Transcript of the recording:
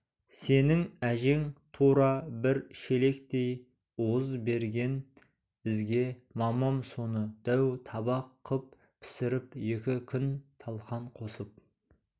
сенің әжең тура бір шелектей уыз берген бізге мамам соны дәу табақ қып пісіріп екі күн талқан қосып